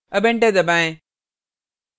अब enter दबाएँ